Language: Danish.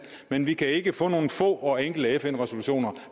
men vi kan ikke få nogle få og enkle fn resolutioner